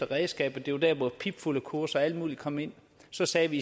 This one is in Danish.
redskaber det var der hvor pipfuglekurser og alt muligt kom ind så sagde vi